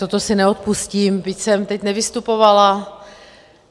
Toto si neodpustím, byť jsem teď nevystupovala.